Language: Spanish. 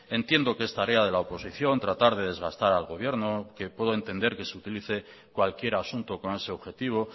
entiendo que es tarea de la oposición tratar de desgastar al gobierno que puedo entender que se utilice cualquier asunto con ese objetivo